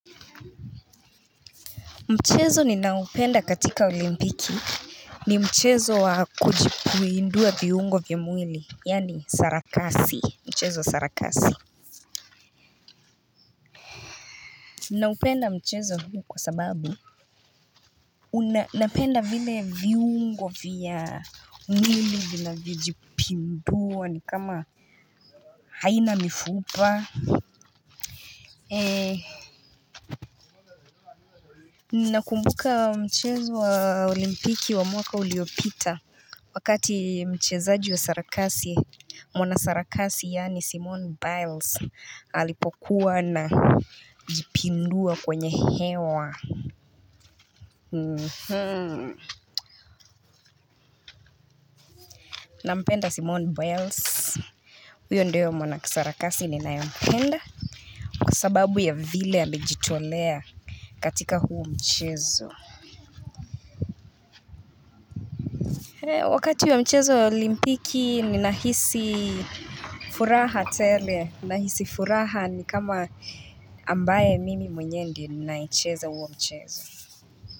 Mchezo ninaopenda katika olimpiki. Ni mchezo wa kujipuindua viungo vya mwili, yani sarakasi, mchezo wa sarakasi. Naupenda mchezo huu kwa sababu napenda vile viungo vya mwili vinavyojipindua ni kama haina mifupa. Nakumbuka mchezo wa olimpiki wa mwaka uliopita. Wakati mchezaji wa sarakasi mwana sarakasi yani Simone Biles alipokuwa najipindua kwenye hewa. Nampenda Simone Biles. Uyo ndio mwanasarakasi ninayempenda. Kwa sababu ya vile amejitolea katika huo mchezo. Wakati wa mchezo wa olimpiki ninahisi furaha tele nahisi furaha ni kama ambaye mimi mwenyewe ndiye ninaecheza huo mchezo.